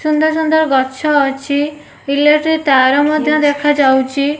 ସୁନ୍ଦର ସୁନ୍ଦର ଗଛ ଅଛି ଇଲେକ୍ଟ୍ରି ତାର ମଧ୍ୟ ଦେଖା ଯାଉଛି।